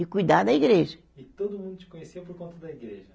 E cuidar da igreja. E todo mundo te conhecia por conta da igreja